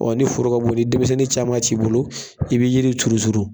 Ɔ ni foro ka bon ni denmisɛnnin caman t'i bolo , i bɛ jiri turu.